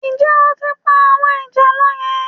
Ǹjẹ́ o tí ń pa àwọn ìjàlọ yẹn?